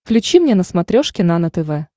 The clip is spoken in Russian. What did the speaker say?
включи мне на смотрешке нано тв